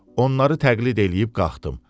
Onları təqlid eləyib qalxdım.